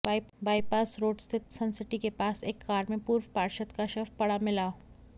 bypass road Suncity सनसिटी के पास एक कार में पूर्व पार्षद का शव पड़ा मिला